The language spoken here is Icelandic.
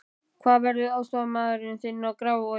Hver verður aðstoðarmaður þinn í Grafarvogi?